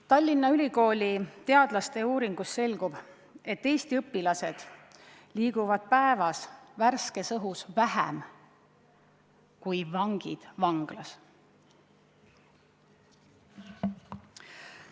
Tallinna Ülikooli teadlaste uuringust selgub, et Eesti õpilased liiguvad päevas värskes õhus vähem kui vangid vanglas.